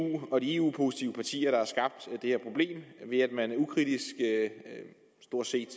og de eu positive partier ved at man stort set